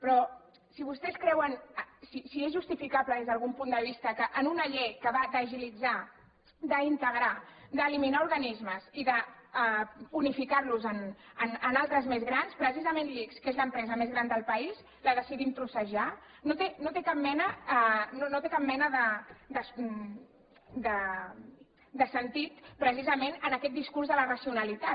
però si és justificable des d’algun punt de vista que en una llei que va d’agilitzar d’integrar d’eliminar organismes i d’unificar los en altres més grans precisament l’ics que és l’empresa més gran del país la decidim trossejar no té cap mena de sentit precisament en aquest discurs de la racionalitat